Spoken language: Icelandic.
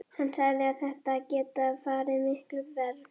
Hann sagði að þetta hefði getað farið miklu verr.